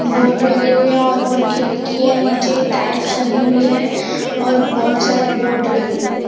Board लगे हुए है और ऊपर खिड़की की है नीचे टाइल्स लगी हुई है और बहुत सारे बोर्ड लगे हुए है।